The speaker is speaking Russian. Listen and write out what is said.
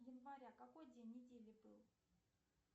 января какой день недели был